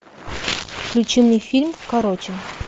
включи мне фильм короче